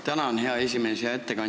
Tänan, hea esimees!